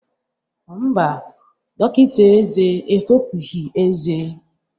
Mba, dọkịta ezé efopụghị ezé